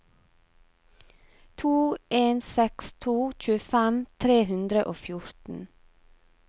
to en seks to tjuefem tre hundre og fjorten